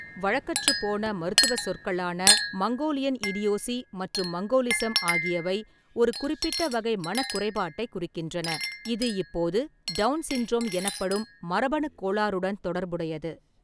வழக்கற்றுப் போன மருத்துவச் சொற்களான மங்கோலியன் இடியோசி மற்றும் மங்கோலிசம் ஆகியவை ஒரு குறிப்பிட்ட வகை மனக் குறைபாட்டைக் குறிக்கின்றன, இது இப்போது டவுன் சிண்ட்ரோம் எனப்படும் மரபணுக் கோளாறுடன் தொடர்புடையது.